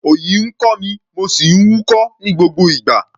Òyì ń kọ́ mi, mo sì ń húkọ́ ní gbogbo ìgbà.